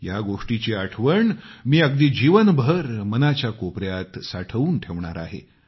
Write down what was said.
या गोष्टीची आठवण मी अगदी जीवनभर मनाच्या कोपयात साठवून ठेवणार आहे